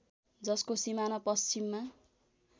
जसको सिमाना पश्चिममा